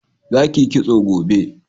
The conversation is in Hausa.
za ki yi kitso gobe!